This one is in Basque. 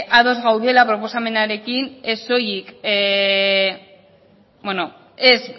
ba bueno ados gaudela proposamenarekin